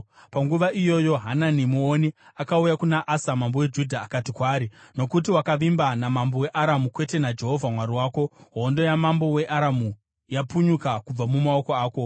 Panguva iyoyo Hanani muoni akauya kuna Asa mambo weJudha akati kwaari, “Nokuti wakavimba namambo weAramu, kwete naJehovha Mwari wako, hondo yamambo weAramu yapunyuka kubva mumaoko ako.